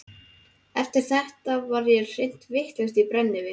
Eftir þetta var ég hreint vitlaus í brennivín.